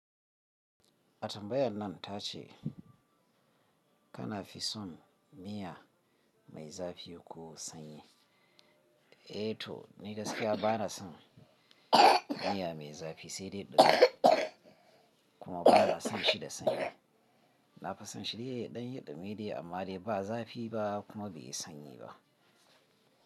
Atamba ya nan ta ce kana fisun miya mai zafi ko sanyi. Eh toh ni gaskiya bana son miya mai zafi sai dai dumi kuma ba na son shi da sanyi. Na fisonshine ya dan yi dumi dai amma dai ba zafi ba kuma bai yi sanyi ba.